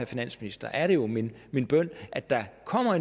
finansministeren er det jo min min bøn at der kommer